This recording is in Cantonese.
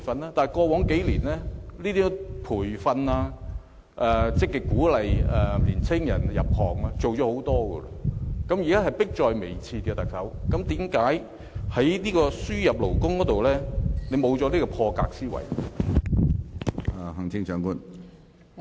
然而，過往數年，培訓、積極鼓勵年青人入行已經做了很多，現在的情況已是迫在眉睫，為何特首在輸入勞工方面卻沒有破格的思維呢？